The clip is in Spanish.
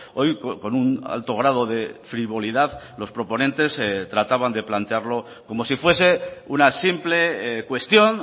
hoy con un alto grado de frivolidad los proponentes trataban de plantearlo como si fuese una simple cuestión